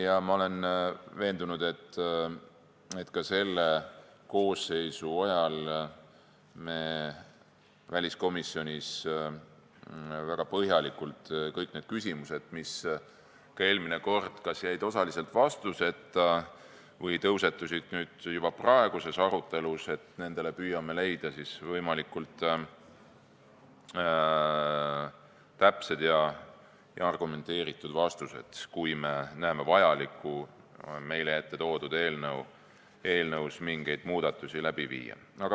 Ma olen veendunud, et ka selle koosseisu ajal me väliskomisjonis väga põhjalikult kõikidele nendele küsimustele, mis eelmine kord jäid kas osaliselt vastuseta või tõusetusid juba praeguses arutelus, püüame leida võimalikult täpsed ja argumenteeritud vastused, kui me peame vajalikuks meie ette toodud eelnõus mingeid muudatusi teha.